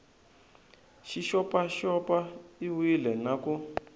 xi xopaxop iwile na ku